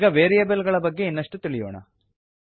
ಈಗ ವೇರಿಯೇಬಲ್ ಗಳ ಬಗ್ಗೆ ಇನ್ನಷ್ಟು ತಿಳಿಯೋಣ